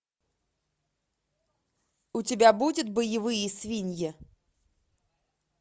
у тебя будет боевые свиньи